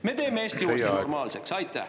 Me teeme Eesti uuesti normaalseks!